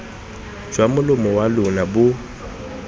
jwa molomo wa lona bo